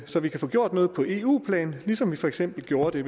så vi kan få gjort noget på eu plan ligesom vi for eksempel gjorde det